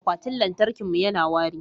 akwatin lantarkin mu yana wari